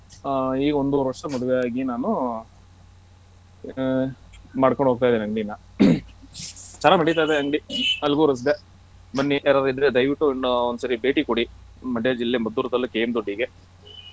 ಹ ಈಗ ಒಂದವರೆ ವರ್ಷ ಮದ್ವೆ ಆಗಿ ನಾನು ಮಾಡ್ಕೊಂಡು ಹೋಗ್ತಾ ಇದೆನೆ ಅಂಗ್ಡಿನ ಚೆನ್ನಾಗ್ ನಡೀತಾ ಇದೆ ಅಂಗ್ಡಿ Algur ರಸ್ತೆ ಬನ್ನಿ ಯಾರಾದ್ರೂ ಇದ್ರೆ ದಯವಿಟ್ಟು ಒಂದ್ಸರಿ ಭೇಟಿ ಕೂಡಿ Mandya ಜಿಲ್ಲೆ Maddur ತಾಲ್ಲೂಕ್ KM Doddi ಗೆ.